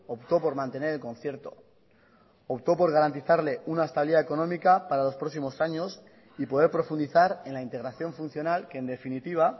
optó por mantener el concierto optó por garantizarle una estabilidad económica para los próximos años y poder profundizar en la integración funcional que en definitiva